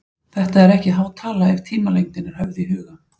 Þetta er þó ekki há tala ef tímalengdin er höfð í huga.